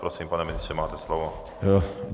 Prosím, pane ministře, máte slovo.